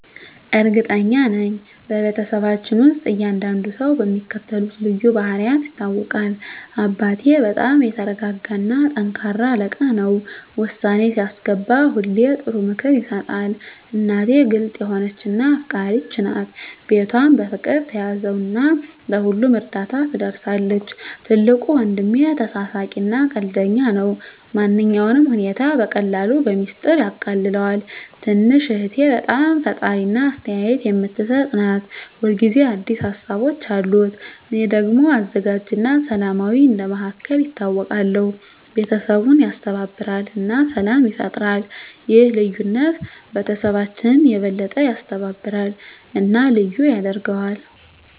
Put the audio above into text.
እርግጠኛ ነኝ፤ በቤተሰባችን ውስጥ እያንዳንዱ ሰው በሚከተሉት ልዩ ባህሪያት ይታወቃል - አባቴ በጣም የተረጋጋ እና ጠንካራ አለቃ ነው። ውሳኔ ሲያስገባ ሁሌ ጥሩ ምክር ይሰጣል። እናቴ ግልጽ የሆነች እና አፍቃሪች ናት። ቤቷን በፍቅር ትያዘው እና ለሁሉም እርዳታ ትደርሳለች። ትልቁ ወንድሜ ተሳሳቂ እና ቀልደኛ ነው። ማንኛውንም ሁኔታ በቀላሉ በሚስጥር ያቃልለዋል። ትንሽ እህቴ በጣም ፈጣሪ እና አስተያየት የምትሰጥ ናት። ሁል ጊዜ አዲስ ሀሳቦች አሉት። እኔ ደግሞ አዘጋጅ እና ሰላማዊ እንደ መሃከል ይታወቃለሁ። ቤተሰቡን ያስተባብራል እና ሰላም ይፈጥራል። ይህ ልዩነት ቤተሰባችንን የበለጠ ያስተባብራል እና ልዩ ያደርገዋል።